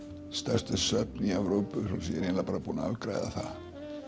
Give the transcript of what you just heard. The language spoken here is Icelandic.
stærstu söfn Evrópu svo ég er eiginlega bara búinn að afgreiða það